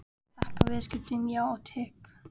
Og þakka viðskiptin, já og teið.